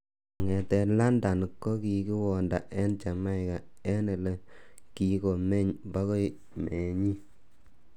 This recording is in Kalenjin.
Kongeten London ko kikiwonda en Jamaica, en ele kikomeny bokoi meenyin.